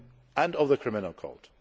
and of the Criminal Code.